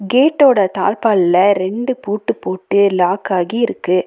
கேட்டோட தாழ்பால்ல ரெண்டு பூட்டு போட்டு லாக் ஆகி இருக்கு.